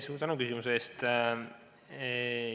Suur tänu küsimuse eest!